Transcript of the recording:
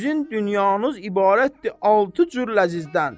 Sizin dünyanız ibarətdir altı cür ləzzizdən.